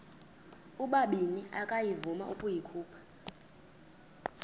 ubabini akavuma ukuyikhupha